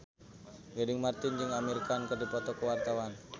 Gading Marten jeung Amir Khan keur dipoto ku wartawan